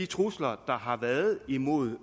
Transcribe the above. trusler der har været imod